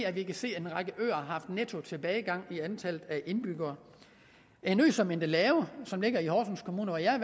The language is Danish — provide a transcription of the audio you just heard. at vi kan se at en række øer har haft en nettotilbagegang i antallet af indbyggere en ø som endelave som ligger i horsens kommune hvor jeg er